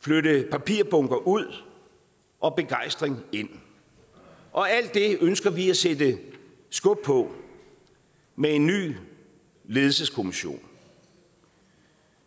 flytte papirbunker ud og begejstring ind og alt det ønsker vi at sætte skub på med en ny ledelseskommission